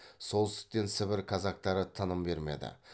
солтүстіктен сібір казактары тыным бермеді